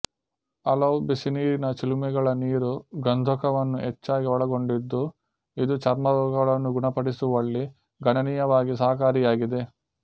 ಹಲವು ಬಿಸಿನೀರಿನ ಚಿಲುಮೆಗಳ ನೀರು ಗಂಧಕವನ್ನು ಹೆಚ್ಚಾಗಿ ಒಳಗೊಂಡಿದ್ದು ಇದು ಚರ್ಮರೋಗಗಳನ್ನು ಗುಣಪಡಿಸುವಲ್ಲಿ ಗಣನೀಯವಾಗಿ ಸಹಕಾರಿಯಾಗಿದೆ